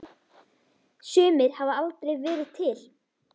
Sumir hafa aldrei verið til.